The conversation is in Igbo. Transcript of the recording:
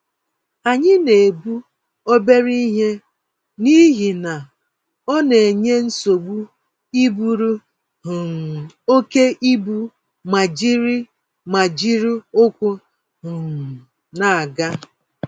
Anyị na-ebu obere ihe n'ihi na onenye nsogbu iburu um oké ibu, ma ijiri ma ijiri ụkwụ um n'aga